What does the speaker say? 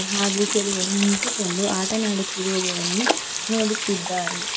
ಹಾಗು ಕೆಲವರು ನಿಂತುಕೊಂಡು ಆಟನಾಡುತ್ತಿರುವದನ್ನು ನೋಡುತ್ತಿದ್ದಾರೆ.